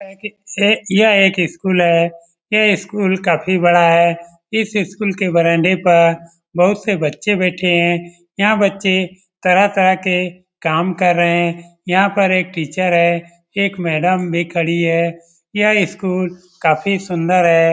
यह एक स्कूल है यह स्कूल काफी बड़ा है इस स्कूल के बरामदा पर बहुत से बच्चे बैठे है यहाँ बच्चे तरह-तरह के काम कर रहे हैं यहाँ पर एक टीचर है एक मैडम भी खड़ी है यह स्कूल काफी सुंदर है।